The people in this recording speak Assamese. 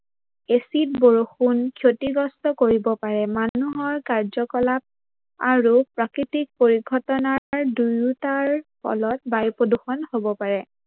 এচিড বৰষুন ক্ষতিগ্ৰস্ত কৰিব পাৰে। মানুহৰ কাৰ্যকলাপ আৰু প্ৰাকৃতিক পৰিঘটনা দুয়োটাৰ ফলত বায়ুপ্ৰদূৰ্ষন হব পাৰে।